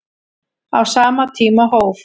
Á sama tíma hóf